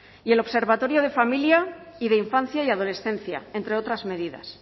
y el observatorio de familia y de infancia y adolescencia entre otras medidas